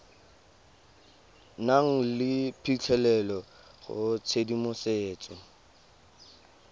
nang le phitlhelelo go tshedimosetso